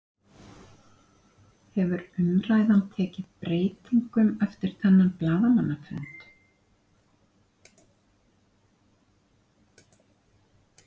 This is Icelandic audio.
Hefur umræðan tekið breytingum eftir þennan blaðamannafund?